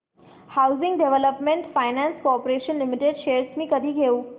housing development finance corporation limited shares मी कधी घेऊ